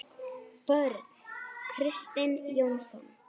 Börn: Kristinn Jónsson?